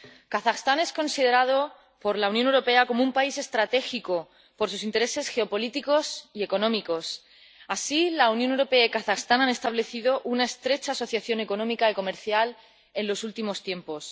Kazajistán es considerado por la Unión Europea como un país estratégico por sus intereses geopolíticos y económicos. Así, la Unión Europea y Kazajistán han establecido una estrecha asociación económica y comercial en los últimos tiempos.